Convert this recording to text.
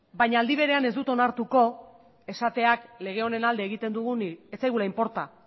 baina aldi berean ez dut onartuko esateak lege honen alde egiten dugunik ez zaigula inporta